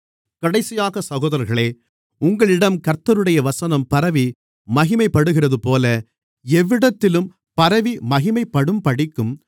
கடைசியாக சகோதரர்களே உங்களிடம் கர்த்தருடைய வசனம் பரவி மகிமைப்படுகிறதுபோல எவ்விடத்திலும் பரவி மகிமைப்படும்படிக்கும்